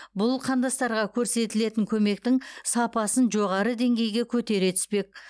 бұл қандастарға көрсетілетін көмектің сапасын жоғары деңгейге көтере түспек